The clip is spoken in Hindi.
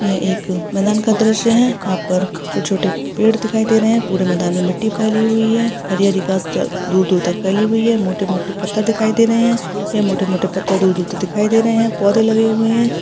यह एक मैदान का दृश्य है यहाँ पर छोटे-छोटे पेड़ दिखाई दे रहे है पूरे मैदान में मिट्टी फैली हुई है हरी-हरी घास द दूर दूर तक फैली हुई है मोटे-मोटे पत्थर दिखाई दे रहे है ये मोटे-मोटे पत्थर दूर-दूर तक दिखाई दे रहे है पौधें लगे हुए है ।